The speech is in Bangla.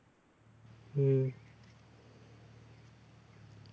হুম